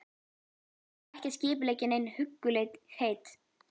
Hann var ekki að skipuleggja nein huggulegheit.